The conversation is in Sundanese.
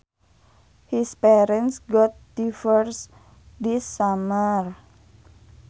His parents got divorced this summer